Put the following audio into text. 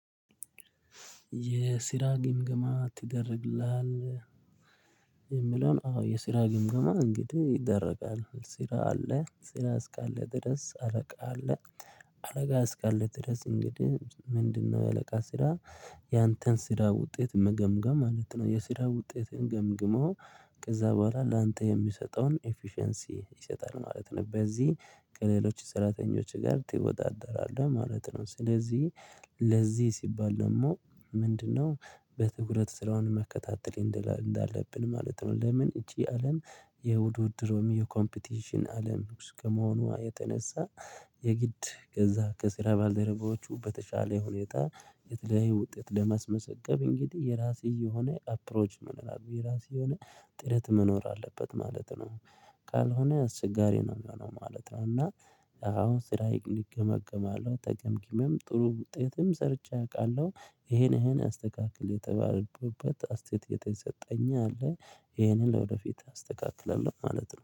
የስራ ግምግማ ትደረግልሃለህ። የሚለውን አዎ የስራ ግምግማ እንግዲህ ይደረጋል ስራ አለ ስራ እስካለ ድረስ አረቃ አለ አለቃ እስካለ ድረስ እንግዲህ ምንድነው? የአለቃ ስራ ያንተን ስራ ውጤት መገምገም ማለት ነው የስራ ውጤትን ገምግሞ ከዛ በኋላ ላንተ የሚሰጠውን ኤፊሸንሲ ይሰጣል ማለት ነው። በዚህ ከሌሎች ሰራተኞች ጋር ትወጣጠራለህ ማለት ነው። ስለዚህ ለዚህ ሲባል ደግሞ ምንድነው በትኩረት ስራውን መከታተል እንዳለብን ማለት ነው። ለምን? እቺ አለም የውድድሮም የኮምፒቲሽን አለም እስከመሆኗ የተነሳ። የግድ ገዛ ከስራ ባልደረባዎቹ በተሻለ ሁኔታ የተለያዩ ውጤት ለማስመሰገብ እንግዲህ የራስህ የሆነ አፕሮች ምን መኖር ብዬ ራሴ ሆኜ ጥረት መኖር አለበት ማለት ነው። ካልሆነ አስቸጋሪ ነው የሚሆነው ማለት ነው። እና አሁን ስራ ይገመገማለሁ ተገምግሜም ጥሩ ውጤትም ሰርቼ አውቃለሁ ይሄን አስተካክል የተባለበት አስተያየት የሰጠኝ አለ ይሄንን ለወደፊት አስተካክለናለሁ ማለት ነው